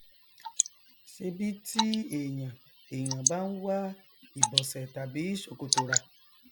ṣebi tí èyàn èyàn bá n wá ìbọsẹ tàbí sòkòtò rà